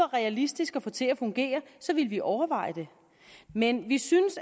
realistisk at få til at fungere ville vi overveje det men vi synes